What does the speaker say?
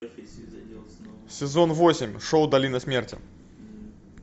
сезон восемь шоу долина смерти